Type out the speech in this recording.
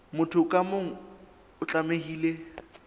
motho ka mong o tlamehile